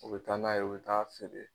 O be taa n'a ye o taa feere